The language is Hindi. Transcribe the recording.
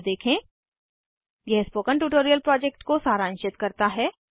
httpspoken tutorialorgWhat is a Spoken tutorial यह स्पोकन ट्यूटोरियल प्रोजेक्ट को सारांशित करता है